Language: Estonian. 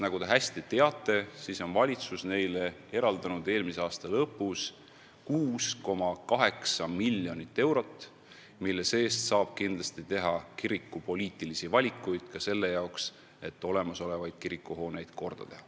Nagu te hästi teate, valitsus eraldas neile eelmise aasta lõpus 6,8 miljonit eurot, mille ulatuses saab kindlasti teha kirikupoliitilisi valikuid ka selle kasuks, et olemasolevaid kirikuhooneid korda teha.